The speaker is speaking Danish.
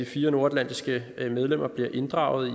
fire nordatlantiske medlemmer bliver inddraget